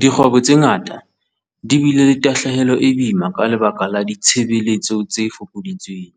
Dikgwebo tse ngata di bile le tahlehelo e boima ka lebaka la ditshebetso tse fokoditsweng.